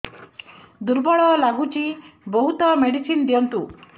ଦୁର୍ବଳ ଲାଗୁଚି ବହୁତ ମେଡିସିନ ଦିଅନ୍ତୁ